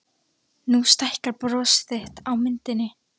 Nú stækkar bros þitt á myndinni.